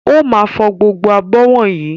Ó máa fọ gbogbo abọ́ wọ̀nyí.